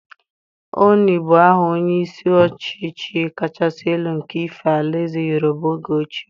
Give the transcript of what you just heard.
Oni bu aha onye isi ọchịchị kachasị elu nke Ife, àlà ézè Yorùbá oge ochie.